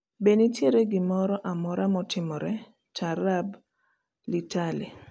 be nitiere gimora amora matimore taarab litale